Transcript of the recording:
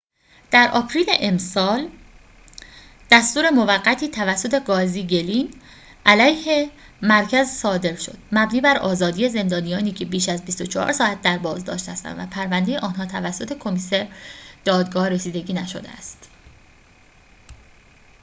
در آپریل امسال دستور موقتی توسط قاضی گلین علیه مرکز صادر شد مبنی بر آزادی زندانیانی که بیش از ۲۴ ساعت در بازداشت هستند و پرونده آنها توسط کمیسر دادگاه رسیدگی نشده است